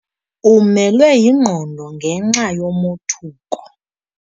Umelwe yingqondo ngenxa yomothuko.